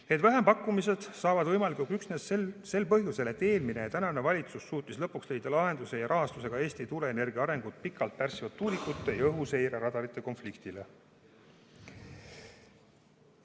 Need vähempakkumised saavad võimalikuks üksnes sel põhjusel, et eelmine ja tänane valitsus on suutnud lõpuks leida lahenduse ja rahastuse ka Eesti tuuleenergia arengut pikalt pärssinud tuulikute ja õhuseireradarite konfliktile.